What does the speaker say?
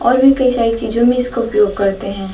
और भी कई सारे चीजों में इसको उपयोग करते हैं।